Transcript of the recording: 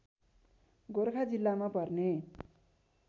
गोर्खा जिल्लामा पर्ने